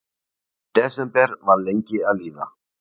Desember var lengi að líða.